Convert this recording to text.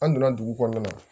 An donna dugu kɔnɔna na